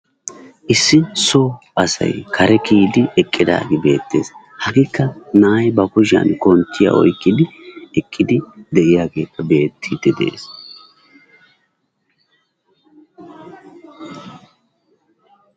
Issi so asay kare kiyidi eqqidaagee beettees, hagekka na'ay ba kushiyan konttiya oyqqidi eqqidi de'iyagekka beetidi dees.